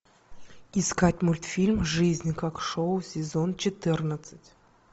искать мультфильм жизнь как шоу сезон четырнадцать